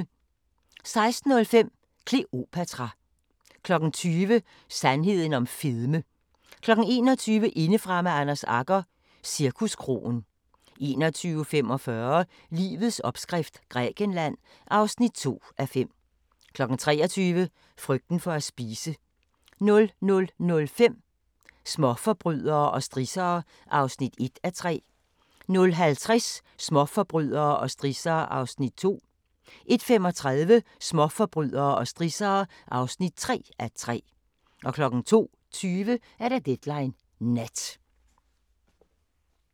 16:05: Kleopatra 20:00: Sandheden om fedme 21:00: Indefra med Anders Agger – Cirkuskroen 21:45: Livets opskrift – Grækenland (2:5) 23:00: Frygten for at spise 00:05: Småforbrydere og strissere (1:3) 00:50: Småforbrydere og strissere (2:3) 01:35: Småforbrydere og strissere (3:3) 02:20: Deadline Nat